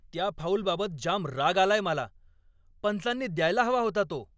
त्या फाऊलबाबत जाम राग आलाय मला! पंचांनी द्यायला हवा होता तो.